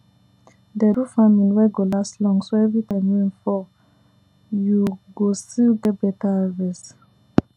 dey do farming wey go last long so every time rain fall you go still get beta harvest